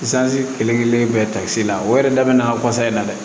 kelen kelen bɛɛ takisi la o yɛrɛ da bɛ na in na dɛ